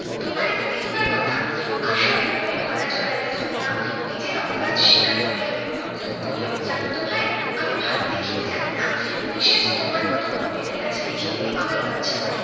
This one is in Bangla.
তোমারই তো লিখিবার কথা। আশা বিনোদিনীর গলা জড়াইয়া ধরিয়া নিজের অপরাধ স্বীকার করিয়া লইলো। কহিল জানতো ভাই, আমি ভালো লিখিতে জানি না বিশেষ তোমার মতো পন্ডিতের কাছে লিখিতে আমার লজ্জা করে